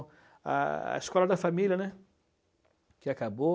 A a escola da família, né, que acabou.